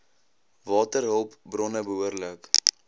waterhulp bronne behoorlik